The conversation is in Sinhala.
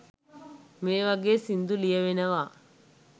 මේ වගේ සින්දු ලියැවෙනවා